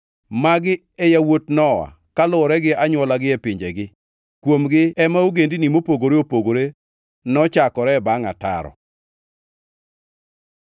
Magi e yawuot Nowa kaluwore gi anywolagi e pinjegi. Kuomgi ema ogendini mopogore opogore nochakore bangʼ ataro.